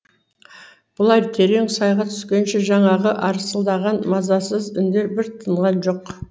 бұлар терең сайға түскенше жаңағы арсылдаған мазасыз үндер бір тынған жоқ